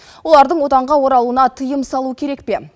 олардың отанға оралуына тыйым салу керек пе